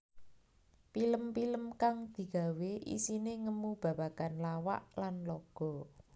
Pilem pilem kang digawé isiné ngemu babagan lawak lan laga